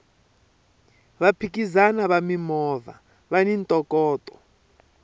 vaphikizani va mimovha vani ntokoto